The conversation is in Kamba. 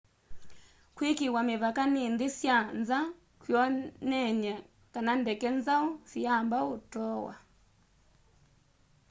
kwikiiwa mivaka ni nthi sya nza kwioneny'e kana ndeke nzau siyamba utoowa